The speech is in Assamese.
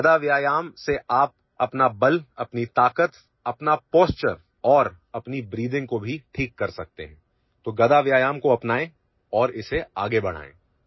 গদা ব্যায়ামৰ জৰিয়তে আপুনি আপোনাৰ শক্তি শাৰীৰিক ক্ষমতা ভংগীমা আৰু উশাহনিশাহ ঠিক কৰিব পাৰে গতিকে গদা ব্যায়ামক জীৱনৰ এটা অংশ কৰি আগুৱাই নিব পাৰে